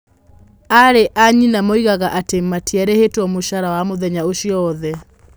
Aarĩ a nyina moigaga atĩ matiarĩhĩtwo mũcara wa mũthenya ũcio wothe.